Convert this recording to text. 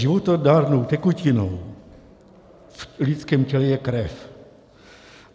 Životadárnou tekutinou v lidském těle je krev.